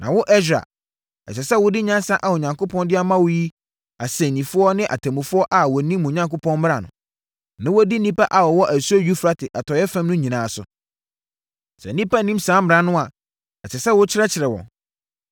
Na wo Ɛsra, ɛsɛ sɛ wode nyansa a Onyankopɔn de ama wo no yi asɛnnifoɔ ne atemmufoɔ a wɔnim mo Onyankopɔn mmara no, na wɔdi nnipa a wɔwɔ asuo Eufrate atɔeɛ fam no nyinaa so. Sɛ nnipa nnim saa mmara no a, ɛsɛ sɛ wokyerɛkyerɛ wɔn.